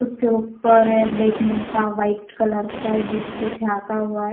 उसके ऊपर बैठने का वाइट कलर का है जिसको झांका हुआ है.